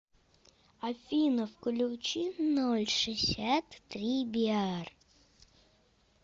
афина включи ноль шисят три биар